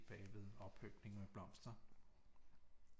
Bagved oppyntning med blomster